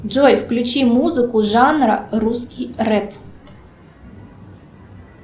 джой включи музыку жанра русский рэп